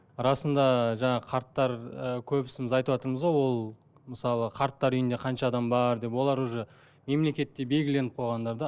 расында жаңағы қарттар ы көбісіміз айтыватырмыз ғой ол мысалы қарттар үйінде қанша адам бар деп олар уже мемлекетте белгіленіп қойғандар да